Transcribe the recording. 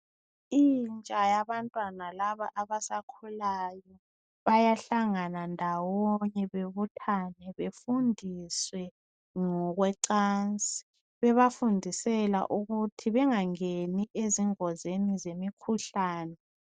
Intsha yabantwana laba abasakhulayo bayahlangana ndawonye bebuthane befundiswe ngokwecansi, bebafundisela ukuthi bengangeni ezingozini zemikhuhlane.